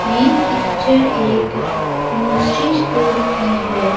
ये पिक्चर एक grocery store की है।